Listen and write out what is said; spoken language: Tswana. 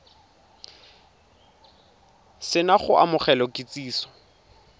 se na go amogela kitsiso